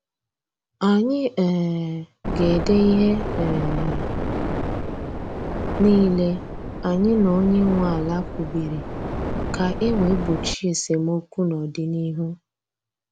Anyị um ga ede ihe um niile anyị na onye nwe ala kwubiri ka e wee gbochie esemokwu n' ọdịnihu